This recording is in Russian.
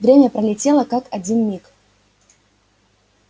время пролетело как один миг